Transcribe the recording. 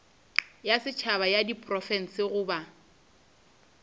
ya setšhaba ya diprofense goba